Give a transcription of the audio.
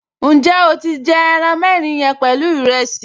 Ǹjẹ́ o ti jẹ ẹran mẹ́rin yẹn pẹ̀lú ìrẹsì?